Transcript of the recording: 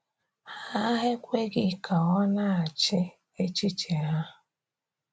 Ha ekweghị ka ọ na-achị echiche ha.